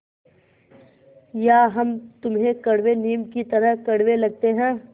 या हम तुम्हें कड़वे नीम की तरह कड़वे लगते हैं